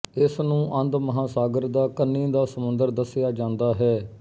ਇਸਨੂੰ ਅੰਧ ਮਹਾਂਸਾਗਰ ਦਾ ਕੰਨੀ ਦਾ ਸਮੁੰਦਰ ਦੱਸਿਆ ਜਾਂਦਾ ਹੈ